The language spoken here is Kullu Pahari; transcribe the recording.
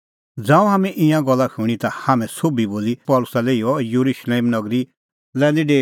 ज़ांऊं हाम्हैं ईंयां गल्ला शूणीं ता हाम्हैं सोभी बोला पल़सी लै इहअ येरुशलेम नगरी लै निं डेऊई